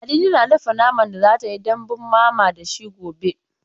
Ladidi na dafa naman da za ta yi dambun mama da shi gobe.